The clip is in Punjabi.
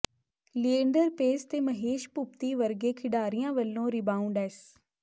ਲਿਏਂਡਰ ਪੇਸ ਤੇ ਮਹੇਸ਼ ਭੂਪਤੀ ਵਰਗੇ ਖਿਡਾਰੀਆਂ ਵੱਲੋਂ ਰਿਬਾਊਂਡ ਐਸ